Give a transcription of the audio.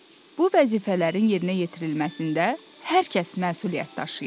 Bu vəzifələrin yerinə yetirilməsində hər kəs məsuliyyət daşıyır.